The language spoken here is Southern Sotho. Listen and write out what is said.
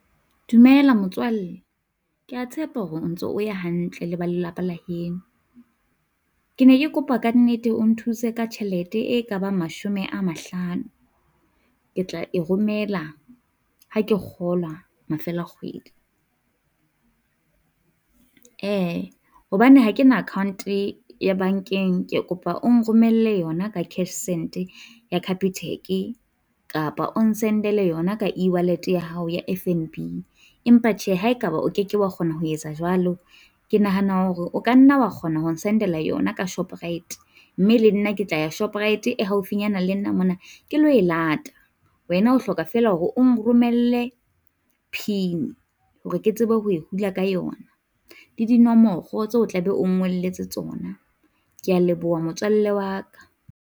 Dumela motswalle, kea tshepa hore o ntso o ya hantle le ba lelapa la heno, ke ne ke kopa kannete o nthuse ka tjhelete e Ka bang mashome a mahlano. Ke tla e romela ha ke kgola mafelo a kgwedi, hobane ha kena account-e ya bankeng, ke kopa o nromelle yona ka cashsend ya Capitec, kapa o n-send-ele yona ka eWallet ya hao ya F_N_B. Empa tjhe, ha e ka ba o keke wa kgona ho etsa jwalo, ke nahana hore o ka nna wa kgona ho n-send-ela yona ka Shoprite, mme le nna ke tla ya Shoprite e haufinyana le nna mona ke lo e lata. Wena o hloka fela hore o nromelle PIN hore ke tsebe ho e hula ka yona, le dinomoro tse o tla be o ngolletse tsona, kea leboha motswalle wa ka.